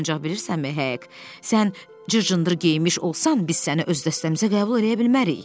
Ancaq bilirsənmi, Hek, sən cır-cındır geyinmiş olsan, biz səni öz dəstəmizə qəbul eləyə bilmərik.